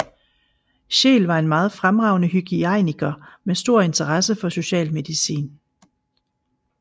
Scheel var en meget fremragende hygiejniker med stor interesse for socialmedicin